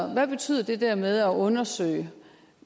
hvad betyder det der med at undersøge